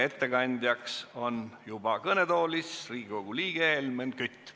Ettekandeks on juba kõnetoolis Riigikogu liige Helmen Kütt.